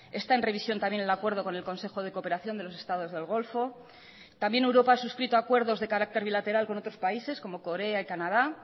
está en revisión también el acuerdo con el consejo de cooperación de los estados del golfo también europa ha suscrito acuerdos de carácter bilateral con otros países como corea y canada